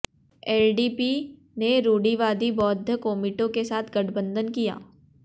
LDP ने रूढ़िवादी बौद्ध कोमिटो के साथ गठबंधन किया